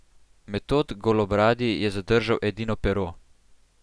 Metod Golobradi je zadržal edino pero.